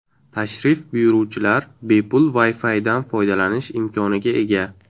Tashrif buyuruvchilar bepul WiFi’dan foydalanish imkoniga ega.